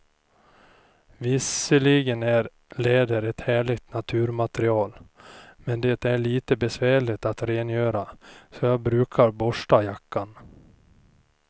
Visserligen är läder ett härligt naturmaterial, men det är lite besvärligt att rengöra, så jag brukar borsta jackan.